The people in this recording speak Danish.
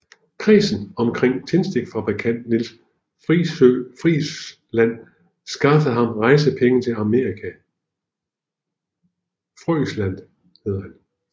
Kredsen omkring tændstikfabrikant Nils Frøisland skaffede ham rejsepenge til Amerika